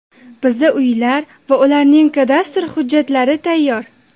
Bizda uylar va ularning kadastr hujjatlari tayyor.